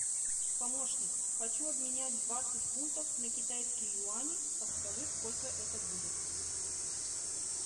помощник хочу обменять двадцать фунтов на китайские юани подскажи сколько это будет